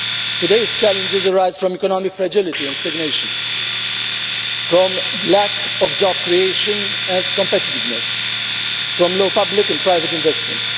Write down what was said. Today's challenges arise from economic fragility and stagnation, from lack of job creation and competitiveness, and from low public and private investment.